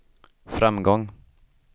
framgång